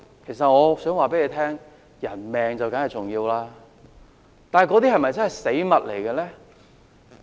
其實我想對你們說，人命當然重要，但那些是否真的是死物呢？